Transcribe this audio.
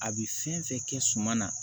A bɛ fɛn fɛn kɛ suman na